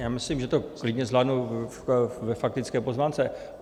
Já myslím, že to klidně zvládnu ve faktické poznámce.